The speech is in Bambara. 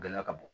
Gɔlɛya ka bon